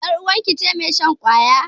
Yar uwarki ce mai shan ƙwaya?